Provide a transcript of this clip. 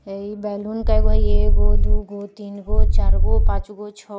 बैलून कएगो हई एगो दुगो तीनगो चरगो पाँचगो छौ --